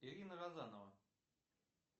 ирина розанова